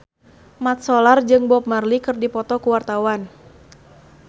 Mat Solar jeung Bob Marley keur dipoto ku wartawan